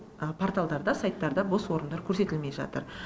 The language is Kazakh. порталдарда сайттарда бос орындар көрсетілмей жатыр